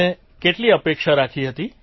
તમે કેટલી અપેક્ષા રાખી હતી